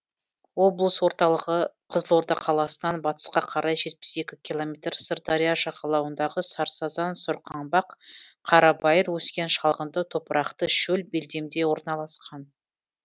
облыс орталығы қызылорда қаласынан батысқа қарай жетпіс екі километр сырдария жағалауындағы сарсазан сорқаңбақ қарабайыр өскен шалғынды топырақты шөл белдемде орналасқан